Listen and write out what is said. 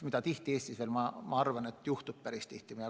Paraku Eestis juhtub seda päris tihti.